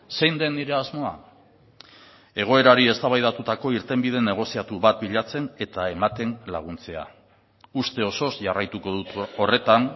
zein den nire asmoa egoerari eztabaidatutako irtenbide negoziatu bat bilatzen eta ematen laguntzea uste osoz jarraituko dut horretan